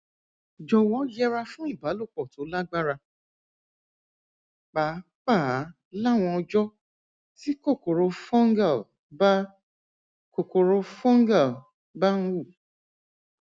jọwọ yẹra fún ìbálòpọ tó lágbára pàápàá láwọn ọjọ tí kòkòrò fungal bá kòkòrò fungal bá ń hù